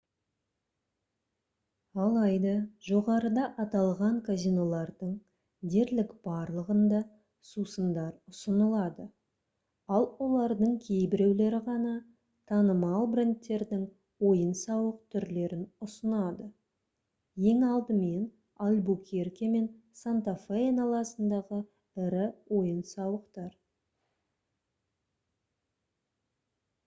алайда жоғарыда аталған казинолардың дерлік барлығында сусындар ұсынылады ал олардың кейбіреулері ғана танымал брендтердің ойын-сауық түрлерін ұсынады ең алдымен альбукерке мен санта-фе айналасындағы ірі ойын-сауықтар